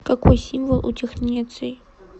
какой символ у технеций